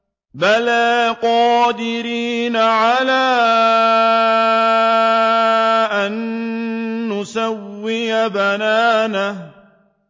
بَلَىٰ قَادِرِينَ عَلَىٰ أَن نُّسَوِّيَ بَنَانَهُ